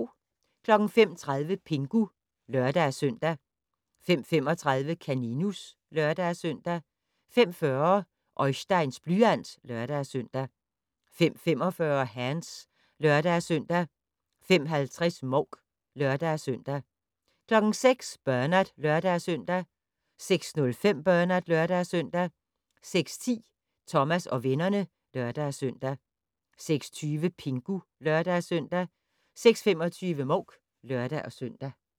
05:30: Pingu (lør-søn) 05:35: Kaninus (lør-søn) 05:40: Oisteins blyant (lør-søn) 05:45: Hands (lør-søn) 05:50: Mouk (lør-søn) 06:00: Bernard (lør-søn) 06:05: Bernard (lør-søn) 06:10: Thomas og vennerne (lør-søn) 06:20: Pingu (lør-søn) 06:25: Mouk (lør-søn)